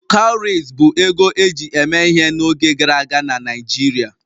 Cowries bụ ego eji eme ihe n'oge gara aga na Naijiria